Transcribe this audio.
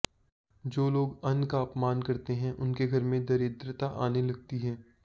जो लोग अन्न का अपमान करते हैं उनके घर में दरिद्रता आने लगती है